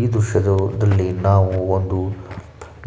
ಈ ದೃಶ್ಯದಲ್ಲಿ ನಾವು ಒಂದು